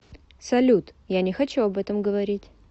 салют я не хочу об этом говорить